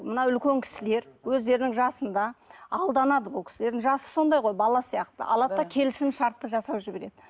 мына үлкен кісілер өздерінің жасында алданады бұл кісілердің жасы сондай ғой бала сияқты алады да келісімшартты жасап жібереді